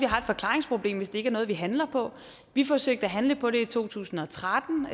har et forklaringsproblem hvis det ikke er noget vi handler på vi forsøgte at handle på det to tusind og tretten